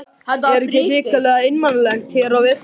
Er ekki hrikalega einmanalegt hér á veturna?